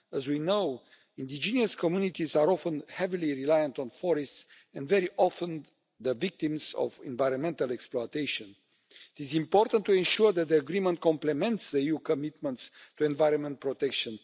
As we know, indigenous communities are often heavily reliant on forests, and very often are the victims of environmental exploitation. It is important to ensure that the agreement complements the EU commitments to environment protection.